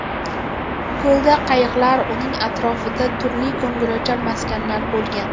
Ko‘lda qayiqlar, uning atrofida turli ko‘ngilochar maskanlar bo‘lgan.